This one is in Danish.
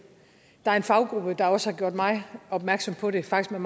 der er en faggruppe der også har gjort mig opmærksom på det faktisk med